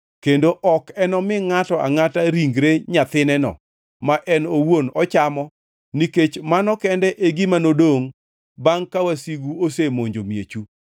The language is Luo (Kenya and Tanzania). kendo ok enomi ngʼato angʼata ringre nyathineno ma en owuon ochamo nikech mano kende e gima nodongʼ bangʼ ka wasigu osemonjo miechu.